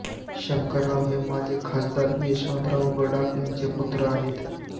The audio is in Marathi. शंकरराव हे माजी खासदार यशवंतराव गडाख यांचे पुत्र आहेत